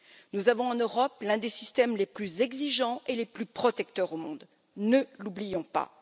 Nous avons en Europe l'un des systèmes les plus exigeants et les plus protecteurs au monde, ne l'oublions pas.